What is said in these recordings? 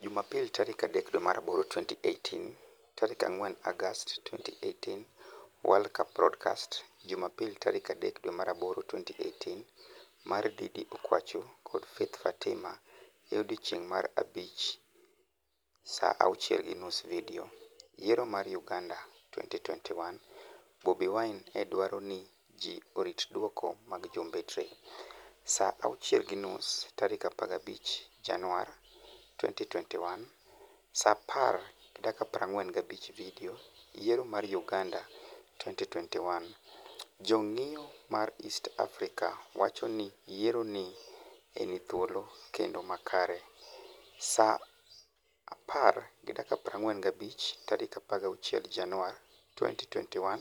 Jumapil 03/08/2018 4 Agost 2018 World Cup Broadcast Jumapil 03/08/2018 mar Didi Okwachu kod Faith fatima e odiechienig' mar abich 0:30 Vidio, Yiero mar Uganida 2021:Bobi Wini e dwaro nii ji orit dwoko mag jombetre, Sa 0.3015 Janiuar 2021 4:45 Vidio, Yiero mar Uganida 2021: Jonig'iyo ma East Africa wacho nii yiero ni e nii thuolo kenido makare, Sa 4.4516 Janiuar 2021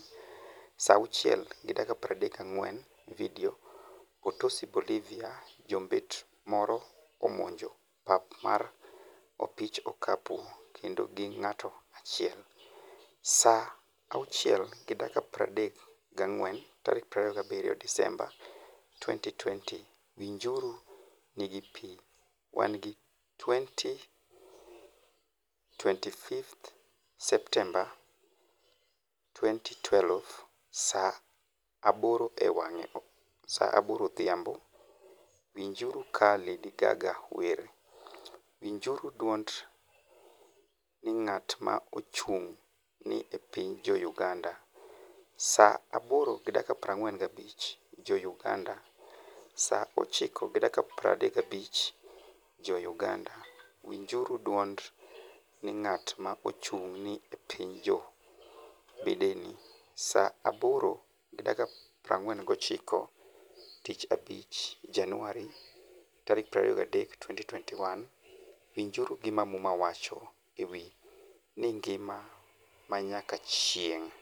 0:34 Vidio, Potosi Bolivia: Jombet moro omonijo pap mar opich okapu kenido gi nig'ato achiel, Sa 0.3427 Desemba 2020 Winijuru, nig'i pi wanig'i 25 Septemba 2012 Sa 2:00 odhiambo, Winijuru ka Lady Gaga wer, Winijuru dwonid nig'at ma ochunig' ni e piniy Jo-Uganida, Sa 2.491 Jo-Uganida, Sa 3.351 Jo-Uganida, Winijuru dwonid nig'at ma ochunig' ni e piniy Jo-Bideni, Sa 2.491 Tich Abich, Janiuar 23, 2021 Winijuru gima Muma wacho e wi "nigima ma niyaka chienig'"?